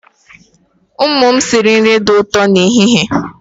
Ụmụ m sịrị nri dị ụtọ n'ehihie a.